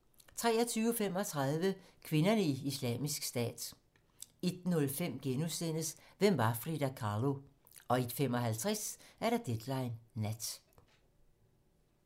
23:35: Kvinderne i Islamisk Stat 01:05: Hvem var Frida Kahlo? * 01:55: Deadline nat